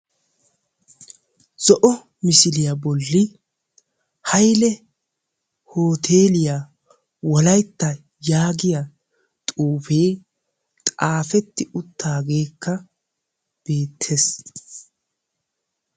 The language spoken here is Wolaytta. Zo'o misiliya bolli hayile hooteliya wolaytta yaagiya xuufe xaafetti uttaagekka beettes.